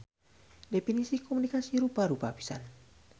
Definisi komunikasi rupa-rupa pisan.